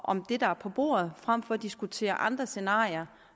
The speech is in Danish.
om det der er på bordet frem for at diskutere andre scenarier